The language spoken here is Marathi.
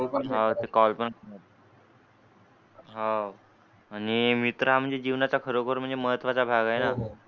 हां आणि मित्र म्हणजे जीवनाचा खरं म्हणजे महत्त्वा चा भाग आहे ना?